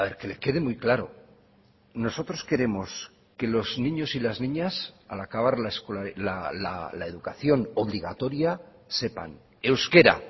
que le quede muy claro nosotros queremos que los niños y las niñas al acabar la educación obligatoria sepan euskera